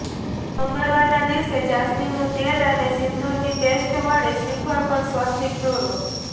મંગળવારના દિવસે જાસ્મીનનું તેલ અને સિંદૂરની પેસ્ટ વડે શ્રીફળ પર સ્વસ્તિક દોરો